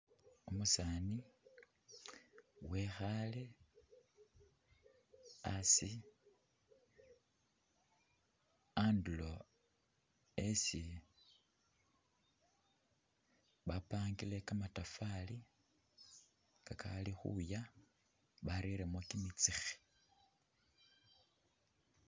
Umusani wekhale asi anduro esi bapandile kamatafali kakali khuya bareremo kimitsikhi.